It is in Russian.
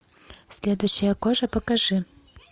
следующая кожа покажи